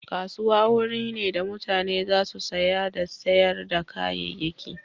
Kasuwa wuri ne da mutane za su saya da sayar da kayayyaki.